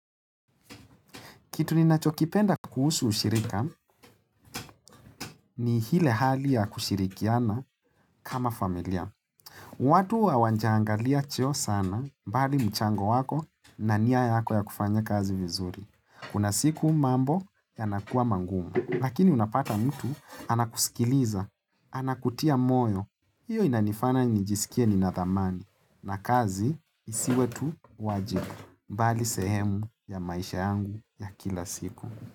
Kitu ninachokipenda kuhusu ushirika ni ile hali ya kushirikiana kama familia. Watu hawajaangalia cheo sana bali mchango wako na nia yako ya kufanya kazi vizuri. Kuna siku mambo yanakuwa magumu. Lakini unapata mtu anakusikiliza, anakutia moyo. Hiyo inanifanya njisikie nina thamani na kazi isiwe tu wajiku. Mbali sehemu ya maisha yangu ya kila siku.